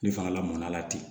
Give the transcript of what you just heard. Ni fana lamɔnɔna la ten